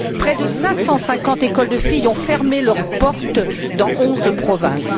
Près de 550 écoles de filles ont fermé leurs portes dans onze provinces.